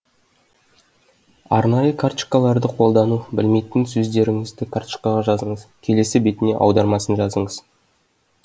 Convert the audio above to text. арнайы карточкаларды қолдану білмейтін сөздеріңізді карточкаға жазыңыз келесі бетіне аудармасын жазыңыз